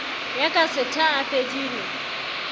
ya ka setha a fedile